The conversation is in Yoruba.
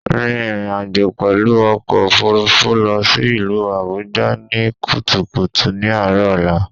Rìn ìrìnàjò pèlú ọkò òfurufú lọ sí ìlú Àbújá ní kùtùkùtù ní àárò ọ̀la